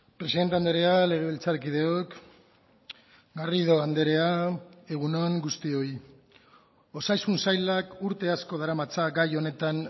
presidente andrea legebiltzarkideok garrido andrea egun on guztioi osasun sailak urte asko daramatza gai honetan